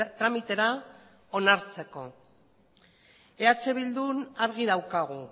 tramitera onartzeko eh bildun argi daukagu